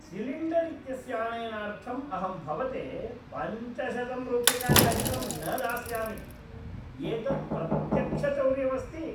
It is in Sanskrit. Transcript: सिलिण्डर् इत्यस्य आनयनार्थम् अहं भवते पञ्चशतं रूप्यकाणि अधिकं न दास्यामि। एतत् प्रत्यक्षचौर्यम् अस्ति!